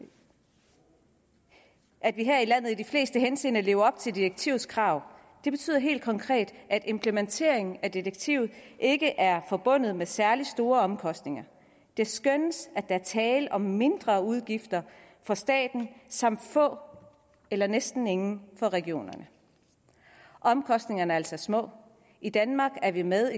i landet i de fleste henseender lever op til direktivets krav det betyder helt konkret at implementeringen af direktivet ikke er forbundet med særlig store omkostninger det skønnes at der er tale om mindre udgifter for staten samt få eller næsten ingen for regionerne omkostningerne er altså små og i danmark er vi med